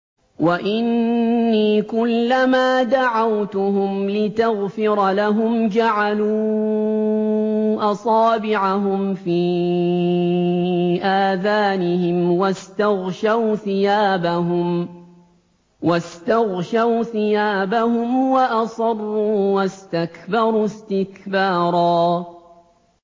وَإِنِّي كُلَّمَا دَعَوْتُهُمْ لِتَغْفِرَ لَهُمْ جَعَلُوا أَصَابِعَهُمْ فِي آذَانِهِمْ وَاسْتَغْشَوْا ثِيَابَهُمْ وَأَصَرُّوا وَاسْتَكْبَرُوا اسْتِكْبَارًا